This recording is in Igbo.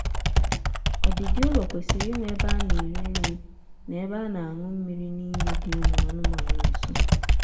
ọdịdị ụlọ kwesịrị inwe ebe a na-eri nri na ebe a na-añụ mmiri n'ime dị ụmụ anụmaanụ nso